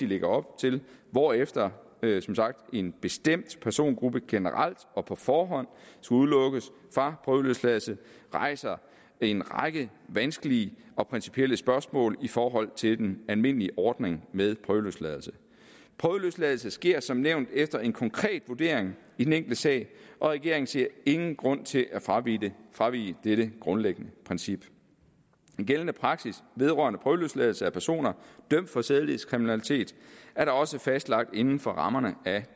lægger op til hvorefter en bestemt persongruppe generelt og på forhånd skal udelukkes fra prøveløsladelse rejser en række vanskelige og principielle spørgsmål i forhold til den almindelige ordning med prøveløsladelse prøveløsladelse sker som nævnt efter en konkret vurdering i den enkelte sag og regeringen ser ingen grund til at fravige dette fravige dette grundlæggende princip den gældende praksis vedrørende prøveløsladelse af personer dømt for sædelighedskriminalitet er da også fastlagt inden for rammerne af